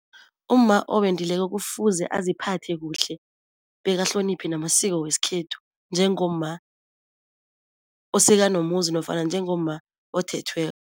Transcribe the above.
Umma owendileko kufuze aziphathe kuhle, bekahloniphe namasiko wesikhethu njengomma osekanomuzi nofana njengomma othethweko.